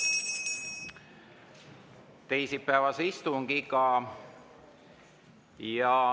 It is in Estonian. … teisipäevast istungit.